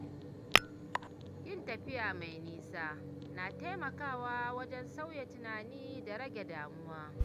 Yin tafiya mai nisa na taimakawa wajen sauya tunani da rage damuwa.